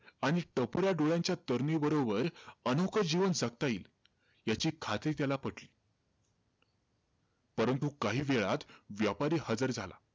आणि टपोऱ्या डोळ्यांच्या तरुणीबरोबर, अनोखं जीवन जगता येईल, याची खात्री त्याला पटली. परंतु काहीवेळात व्यापारी हजार झाला.